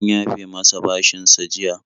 An yafe masa bashinsa jiya.